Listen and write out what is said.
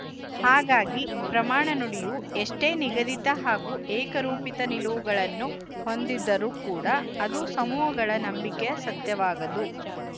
ಹಾಗಾಗಿ ಪ್ರಮಾಣ ನುಡಿಯು ಎಷ್ಟೇ ನಿಗದಿತ ಹಾಗೂ ಏಕರೂಪಿತ ನಿಲುವುಗಳನ್ನು ಹೊಂದಿದ್ದರೂ ಕೂಡ ಅದು ಸಮೂಹಗಳ ನಂಬಿಕೆಯ ಸತ್ಯವಾಗದು